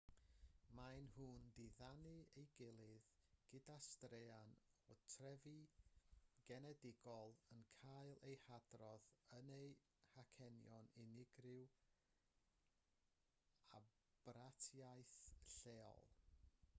maen nhw'n diddanu ei gilydd gyda straeon o'u trefi genedigol yn cael eu hadrodd yn eu hacenion unigryw a bratiaith leol